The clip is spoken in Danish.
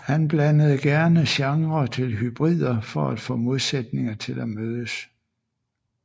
Han blandede gerne genrer til hybrider for at få modsætninger til at mødes